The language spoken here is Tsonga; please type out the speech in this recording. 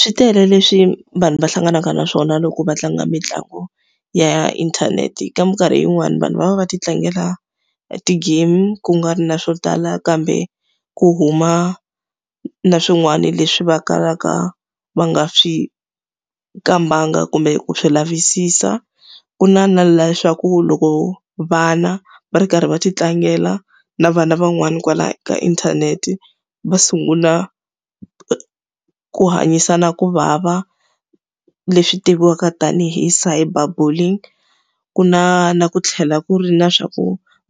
Swi tele leswi vanhu va hlanganaka na swona loko va tlanga mitlangu ya inthanete. Ka minkarhi yin'wani vanhu va va va ti tlangela ti-game ku nga ri na swo tala kambe ku huma na swin'wana leswi va kalaka va nga swi kambanga kumbe ku swi lavisisa. Ku na na leswaku loko vana va ri karhi va ti tlangela na vana van'wani kwala ka inthanete, va sungula ku hanyisana ku vava leswi tiviwaka tanihi cyber building. Ku na na ku tlhela ku ri na swa ku